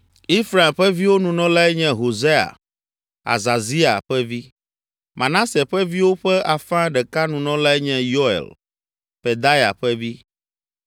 Efraim ƒe viwo Nunɔlae nye Hosea, Azazia ƒe vi; Manase ƒe viwo ƒe afã ɖeka Nunɔlae nye Yoel, Pedaya ƒe vi;